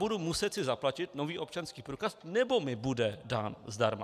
Budu si muset zaplatit nový občanský průkaz, nebo mi bude dán zdarma?